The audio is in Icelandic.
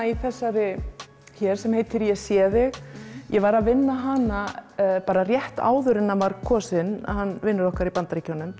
í þessari hér sem heitir ég sé þig ég var að vinna hana rétt áður en hann var kosinn vinur okkar í Bandaríkjunum